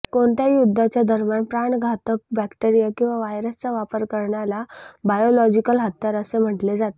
कोणत्याही युद्धाच्या दरम्यान प्राणघातक बॅक्टेरीया किंवा व्हायरसचा वापर करण्याला बायोलॉजिकल हत्यार असे म्हटले जाते